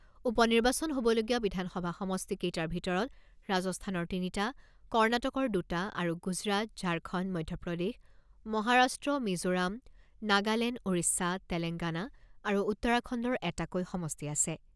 উপ নিৰ্বাচন হ'বলগীয়া বিধানসভা সমষ্টি কেইটাৰ ভিতৰত ৰাজস্থানৰ তিনিটা, কৰ্ণাটকৰ দুটা আৰু গুজৰাট, ঝাৰখণ্ড, মধ্যপ্ৰদেশ, মহাৰাষ্ট্ৰ, মিজোৰাম, নাগালেণ্ড, ওড়িশা, তেলেংগানা আৰু উত্তৰাখণ্ডৰ এটাকৈ সমষ্টি আছে।